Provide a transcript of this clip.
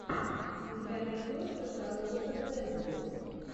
у тебя найдется шарлотта генсбур